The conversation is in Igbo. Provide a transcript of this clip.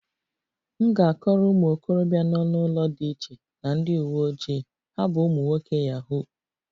M ga-akọrọ ụmụ okorobịa nọ n'ụlọ dị iche na ndị uwe ojii, ha bụ ụmụ nwoke yahoo